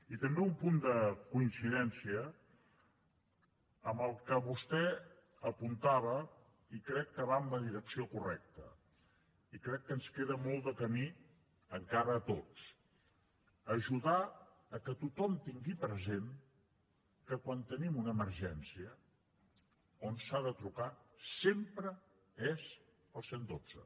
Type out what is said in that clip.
i també un punt de coincidència amb el que vostè apuntava i crec que va en la direcció correcta i crec que ens queda molt camí encara a tots ajudar que tothom tingui present que quan tenim una emergència on s’ha de trucar sempre és al cent i dotze